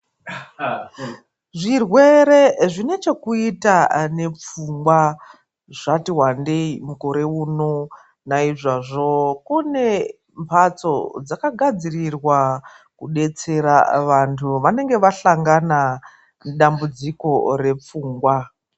Zvirwere zvine chekuita nepfungwa zvati wandei mukore uno naizvozvo kune mbatso dzakagadzirirwa kubetsera vantu vanenge vasangana nedambudziko repfungwa .